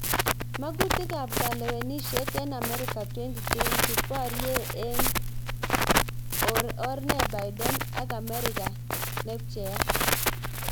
Mang'utik ab kalewenisyet eng amerika 2020: Borye eng or ne Biden ak Ameriga ne pcheyat